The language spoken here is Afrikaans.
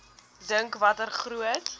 dink watter groot